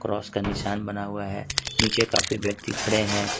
Cross का निशान बना हुआ है नीचे काफी व्यक्ति खड़े हैं।